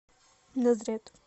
назрет